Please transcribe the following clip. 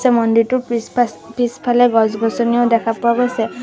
এই মন্দিৰটোৰ পিছ পাছ পিছফালে গছ-গছনিও দেখা পোৱা গৈছে।